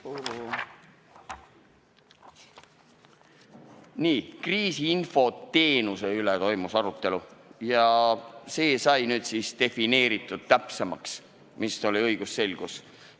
Nii, arutelu toimus kriisiinfo teenuse üle ja see sai nüüd õigusselguse nimel täpsemaks defineeritud.